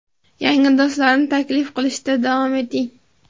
yangi do‘stlarni taklif qilishda davom eting!.